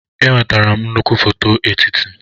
Enwetara m nnukwu foto etiti.